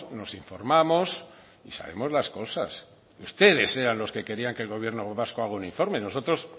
nos informamos y sabemos las cosas ustedes eran los que querían que el gobierno vasco haga un informe a nosotros